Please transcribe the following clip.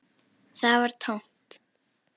Það var tómt.